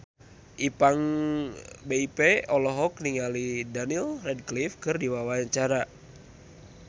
Ipank BIP olohok ningali Daniel Radcliffe keur diwawancara